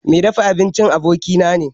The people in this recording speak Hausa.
Mai dafa abincin abokina ne